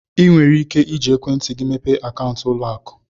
Ị nwere ike iji ekwentị gị mepee akaụntụ ụlọ akụ.